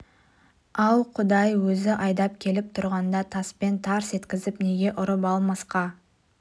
ау құдай өзі айдап келіп тұрғанда таспен тарс еткізіп неге ұрып алмасқа